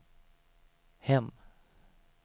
hem